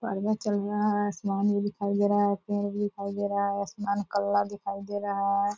चल रहा है आसमान भी दिखाई दे रहा है पेड़ भी दिखाई दे रहा है आसमान काला दिखाई दे रहा है।